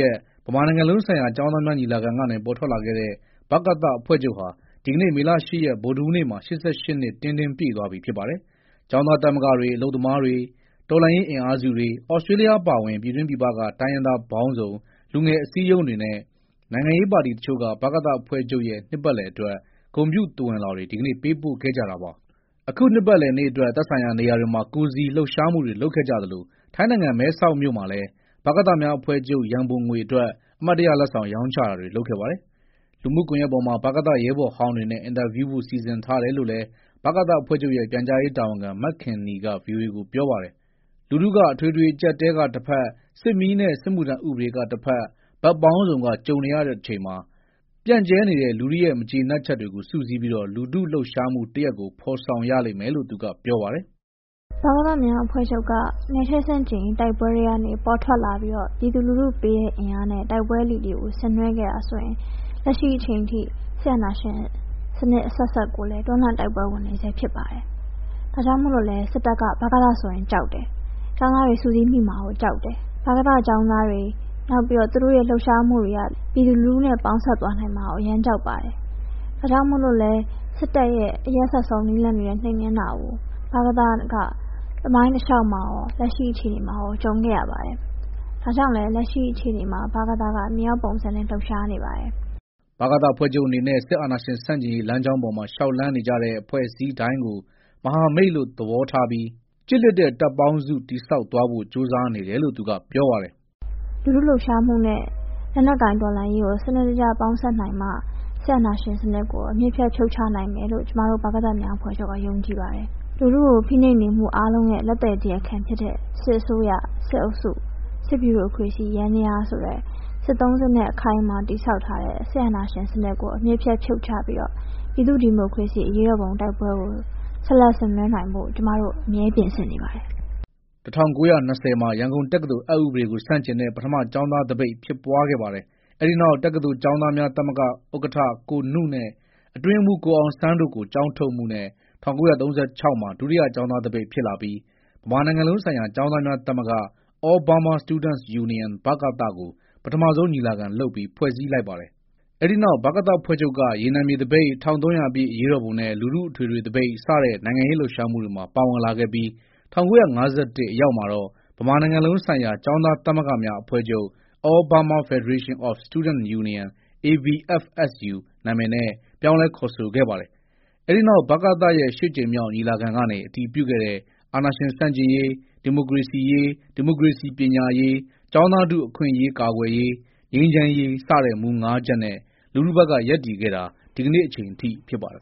ရက်မှာ ဗမာနိုင်ငံလုံးဆိုင်ရာ ကျောင်းသားများညီလာခံကနေ ပေါ်ထွက်လာခဲ့တဲ့ ဗကသအဖွဲ့ချုပ်ဟာ ဒီနေ့ မေလ ၈ ရက် ဗုဒ္ဓဟူးနေ့မှာ ၈၈ နှစ်တင်းတင်း ပြည့်သွားပြီဖြစ်ပါတယ်။ ကျောင်းသားသမဂ္ဂတွေ၊ အလုပ်သမားတွေ၊ တော်လှန်ရေးအင်အားစုတွေ၊ ဩစတြေးလျ အပါအဝင် ပြည်တွင်းပြည်ပက တိုင်းရင်းသားပေါင်းစုံ လူငယ်အစည်းအရုံးတွေနဲ့ နိုင်ငံရေးပါတီတချို့က ဗကသအဖွဲ့ချုပ်ရဲ့ နှစ်ပတ်လည်အတွက် ဂုဏ်ပြုသဝဏ်လွှာတွေ ဒီကနေ့ ပေးပို့ခဲ့ကြတာပါ။ အခုနှစ်ပတ်လည်နေ့အတွက် သက်ဆိုင်ရာနေရာတွေမှာ ကိုယ်စီလှုပ်ရှားမှုတွေလုပ်ခဲ့သလို ထိုင်းနိုင်ငံ၊ မဲဆောက်မြို့မှာလည်း ဗကသအဖွဲ့များအဖွဲ့ချုပ် ရန်ပုံငွေအတွက် အမှတ်တရလက်ဆောင် ရောင်းချတာတွေ လုပ်ခဲ့ပါတယ်။ လူမှုကွန်ရက်ပေါ်မှာ ဗကသရဲဘော်ဟောင်းတွေနဲ့ အင်တာဗျူးဖို့ စီစဉ်ထားတယ်လို့လည်း ဗကသအဖွဲ့ချုပ်ရဲ့ ပြန်ကြားရေးတာဝန်ခံ မခင်နီက ဗွီအိုအေကို ပြောပါတယ်။ လူထုက အထွေထွေအကျပ်အတည်းက တဖက်၊ စစ်မီးနဲ့ စစ်မှုထမ်းဥပဒေကတဖက် ဘက်ပေါင်းစုံက ကြုံနေရတဲ့အချိန်မှာ ပြန့်ကျဲနေတဲ့ လူထုရဲ့ မကျေနပ်ချက်တွေကို စုစည်းပြီး လူထုလှုပ်ရှားမှုတရပ်ကို ဖော်ဆောင်ရလိမ့်မယ်လို့ သူကပြောပါတယ်။ " ဗကသများအဖွဲ့ချုပ်က နယ်ချဲ့ဆန့်ကျင်ရေး တိုက်ပွဲထဲကနေ ပေါ်ထွက်လာပြီးတော့ ပြည်သူလူထုပေးတဲ့ အင်အားနဲ့ တိုက်ပွဲအလီလီကို ဆင်နွဲခဲ့တာဆိုရင် လက်ရှိအချိန်အထိ စစ်အာဏာရှင်အဆက်ဆက်ကိုလည်း တွန်းလှန်တိုက်ပွဲဝင်နေဆဲ ဖြစ်ပါတယ်။ ဒါကြောင့်မို့လည်း စစ်တပ်က ဗကသဆိုရင်ကြောက်တယ်။ ကျောင်းသားတွေ စုစည်းမိမှာကိုကြောက်တယ်၊ ဗကသကျောင်းသားတွေ သူတို့ရဲ့ လှုပ်ရှားမှုတွေက ပြည်သူလူထုနဲ့ ပေါင်းစပ်သွားနိုင်တာကို အရမ်းကြောက်ပါတယ်။ ဒါကြောင့်မို့လည်း စစ်တပ်ရဲ့ အရက်စက်ဆုံးနည်းလမ်းတွေနဲ့ နှိမ်နင်းတာကို ဗကသက သမိုင်းတလျှောက်မှာရော လက်ရှိအခြေအနေမှာရော ကြုံခဲ့ရပါတယ်။ ဒါကြောင့်မို့လည်း ဗကသက လက်ရှိမှာ မြေအောက်ပုံစံနဲ့ လှုပ်ရှားနေပါတယ်။" ဗကသအဖွဲ့ချုပ်အနေနဲ့လည်း စစ်အာဏာရှင်ဆန့်ကျင်ရေး လမ်းကြောင်းပေါ်မှာ လျှောက်လှမ်းနေကြတဲ့ အဖွဲ့အစည်းတိုင်းကို မဟာမိတ်လို့သဘောထားပြီး ကျစ်လျစ်တဲ့တပ်ပေါင်းစု တည်ဆောက်သွားဖို့ ကြိုးစားနေတယ်လို့ သူကပြောပါတယ်။ "လူထုလှုပ်ရှားမှုနဲ့ လက်နက်ကိုင်တော်လှန်ရေးကို စနစ်တကျ ပေါင်းစပ်နိုင်မှ စစ်အာဏာရှင်စနစ်ကို အမြစ်ပြတ် ဖြုတ်ချနိုင်မယ်လို့ ကျမတို့ ဗကသများအဖွဲ့ချုပ်က ယုံကြည်ပါတယ်။ လူထုကိုဖိနှိပ်နေမှုအားလုံးရဲ့ လက်သည်တရားခံဖြစ်တဲ့ စစ်အစိုးရ၊ စစ်အုပ်စု၊ စစ်ဗျူရိုကရေစီ ယန္တရားဆိုတဲ့ စစ်သုံးစစ်နဲ့ အခိုင်အမာ တည်ဆောက်ထားတဲ့ စစ်အာဏာရှင်စနစ်ကို အမြစ်ပြတ် ဖြုတ်ချပြီးတော့ ပြည်သူ့ဒီမိုကရေစီ အရေးတော်ပုံတိုက်ပွဲကို ဆက်လက်ဆင်နွဲနိုင်ဖို့ ကျမတို့ အမြဲပြင်ဆင်နေပါတယ်။" ၁၉၂၀ မှာ ရန်ကုန်တက္ကသိုလ် အက်ဥပဒေကို ဆန့်ကျင်တဲ့ ပထမကျောင်းသားသပိတ်ဖြစ်ပွားခဲ့ပါတယ်၊ အဲဒီနောက် တက္ကသိုလ်ကျောင်းသားများ သမဂ္ဂဥက္ကဋ္ဌ ကိုနုနဲ့ အတွင်းရေးမှူး ကိုအောင်ဆန်းတို့ကို ကျောင်းထုတ်မှုနဲ့ ၁၉၃၆မှာ ဒုတိယကျောင်းသားသပိတ် ဖြစ်လာပြီး ဗမာနိုင်ငံလုံးဆိုင်ရာ ကျောင်းသားများသမဂ္ဂ All Burma Students Union ကို ပထမဆုံးညီလာခံလုပ်ပြီး ဖွဲ့စည်းလိုက်ပါတယ်။ အဲဒီနောက် ဗကသအဖွဲ့ချုပ်က ရေနံမြေသပိတ်၊ ၁၃၀၀ ပြည့်အရေးတော်ပုံနဲ့ လူထုအထွေထွေသပိတ် စတဲ့နိုင်ငံရေး လှုပ်ရှားမှုတွေမှာ ပါဝင်လာခဲ့ပြီး ၁၉၅၁ အရောက်မှာတော့ ဗမာနိုင်ငံလုံးဆိုင်ရာ ကျောင်းသားသမဂ္ဂများအဖွဲ့ချုပ်- All Burma Federation of Student Union- ABFSU နာမည်နဲ့ ပြောင်းလဲခေါ်ဆိုခဲ့ပါတယ်။ အဲဒီနောက် ဗကသရဲ့ ရှစ်ကြိမ်မြောက် ညီလာခံကနေ အတည်ပြုခဲ့တဲ့ အာဏာရှင်ဆန့်ကျင်ရေး၊ ဒီမိုကရေစီရေး၊ ဒီမိုကရေစီ ပညာရေး၊ ကျောင်းသားထုအခွင့်အရေး ကာကွယ်ရေး၊ ငြိမ်းချမ်းရေး စတဲ့မူ ချက်နဲ့ လူထုဘက်က ရပ်တည်ခဲ့တာ ဒီနေ့အချိန်အထိ ဖြစ်ပါတယ်